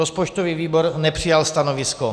Rozpočtový výbor nepřijal stanovisko.